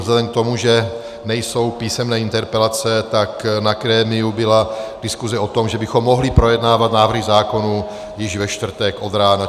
Vzhledem k tomu, že nejsou písemné interpelace, tak na grémiu byla diskuse o tom, že bychom mohli projednávat návrhy zákonů již ve čtvrtek od rána.